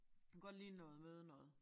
Kunne godt ligne noget mødenoget